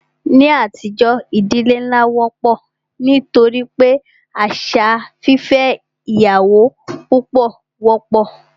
Ní àtijọ́, ìdílé nlá wọ́pọ̀ nítorí wípé àṣà fífẹ́ ìyàwó púpọ wọ́pọ̀.